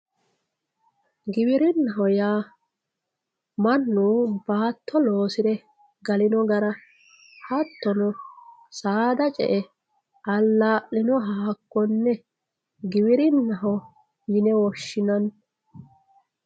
giwirinnaho yaa mannu baatto loosire galino gara hattono saada ce''e allaa'linoha hakkonne giwirinnaho yine woshshinanni.